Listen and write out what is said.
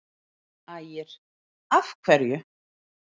Ægir: Af hverju?